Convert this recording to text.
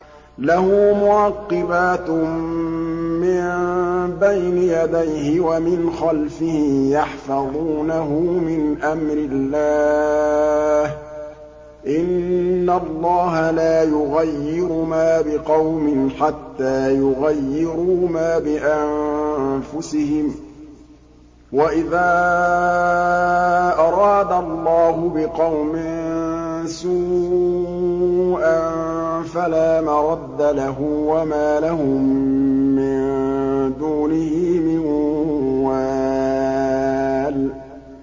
لَهُ مُعَقِّبَاتٌ مِّن بَيْنِ يَدَيْهِ وَمِنْ خَلْفِهِ يَحْفَظُونَهُ مِنْ أَمْرِ اللَّهِ ۗ إِنَّ اللَّهَ لَا يُغَيِّرُ مَا بِقَوْمٍ حَتَّىٰ يُغَيِّرُوا مَا بِأَنفُسِهِمْ ۗ وَإِذَا أَرَادَ اللَّهُ بِقَوْمٍ سُوءًا فَلَا مَرَدَّ لَهُ ۚ وَمَا لَهُم مِّن دُونِهِ مِن وَالٍ